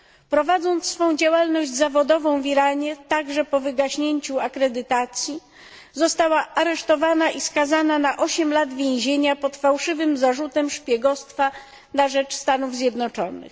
Prowadząc swą działalność zawodową w Iranie, także po wygaśnięciu akredytacji, została aresztowana i skazana na osiem lat więzienia pod fałszywym zarzutem szpiegostwa na rzecz Stanów Zjednoczonych.